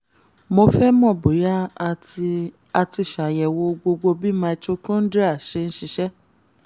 mo fẹ́ mọ̀ bóyá a ti a ti ṣàyẹ̀wò gbogbo bí mitochondria ṣe ń ṣiṣẹ́